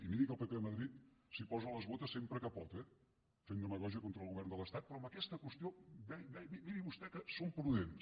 i miri que el pp a madrid s’hi posa les botes sempre que pot eh fent demagògia contra el govern de l’estat però en aquesta qüestió miri vostè que són prudents